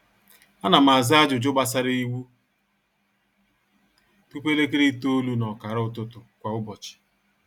ánà m àzá ájụjụ gbàsárá iwu tụpụ elekere itoolu nà ọkàrà ụtụtụ kwa ụbọchị